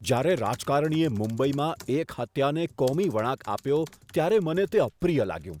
જ્યારે રાજકારણીએ મુંબઈમાં એક હત્યાને કોમી વળાંક આપ્યો ત્યારે મને તે અપ્રિય લાગ્યું.